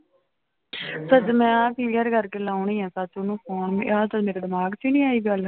ਸੱਚ ਮੈਂ ਆਹ clear ਕਰਕੇ ਲਾਉਨੀ ਆਂ ਚਾਚੂ ਨੂੰ phone ਵੀ ਆਹ ਤਾਂ ਮੇਰੇ ਦਿਮਾਗ ਚ ਹੀ ਨੀ ਆਈ ਗੱਲ।